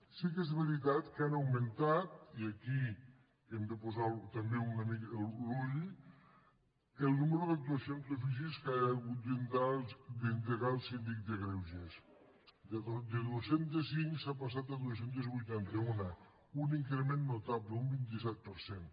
sí que és veritat que ha augmentat i aquí hi hem de posar també una mica l’ull el nombre d’actuacions d’ofici que ha hagut d’endegar el síndic de greuges de dos cents i cinc s’ha passat a dos cents i vuitanta un un increment notable un vint set per cent